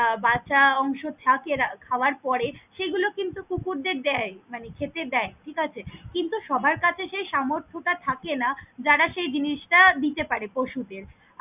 আহ বাঁচা অংশ থাকে খাবার পরে সে গুলো কিন্তু কুকুরদের দেয় মানে খেতে দেয় ঠিক আছে, কিন্তু সবার কাছে সে সামর্থ্টা থাকে না যারা সেই জিনিস তা দিতে পারে পশুদের।